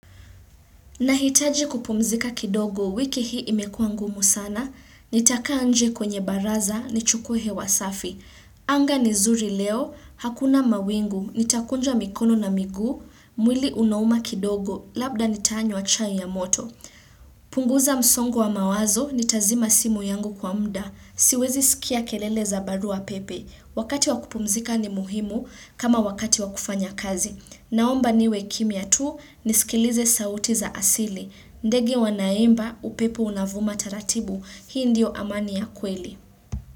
Nahitaji kupumzika kidogo, wiki hii imekua ngumu sana, nitakaa nje kwenye baraza, nichukue hewa safi. Anga ni zuri leo, hakuna mawingu, nitakunja mikono na miguu, mwili unauma kidogo, labda nitanywa chai ya moto. Punguza msongo wa mawazo nitazima simu yangu kwa muda Siwezi sikia kelele za barua pepe Wakati wa kupumzika ni muhimu kama wakati wakufanya kazi Naomba niwe kimya tu nisikilize sauti za asili ndege wanaimba upepo unavuma taratibu Hii ndio amani ya kweli.